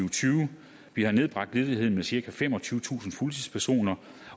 og tyve vi har nedbragt ledigheden med cirka femogtyvetusind fuldtidspersoner